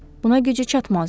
Buna gücü çatmazdı.